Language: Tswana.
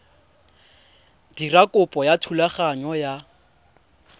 dira kopo ya thulaganyo ya